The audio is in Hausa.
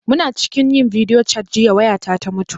Muna cikin yin bidiyo cat jiya waya ta ta mutu